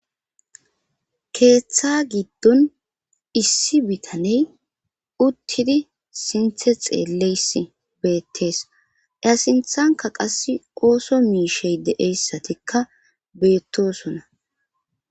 Keeththa giddon issi bitaney uttidi sinthe xeelleys beettees eyasinthanka qass ooso miishey deeyssatikka beettosona.